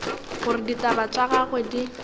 gore ditaba tša gagwe di